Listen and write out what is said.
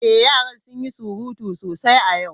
Ee, yaran sun yi surutu sosai a yau.